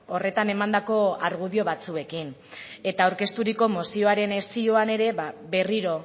horretan emandako argudio batzuekin eta aurkezturiko mozioaren zioan ere berriro